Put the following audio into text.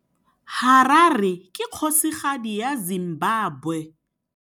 Harare ke kgosigadi ya Zimbabwe.